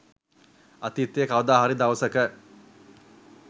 අතීතයේ කවද හරි දවසක